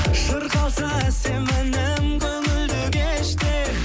шырқалса әсем әнім көңілді кеште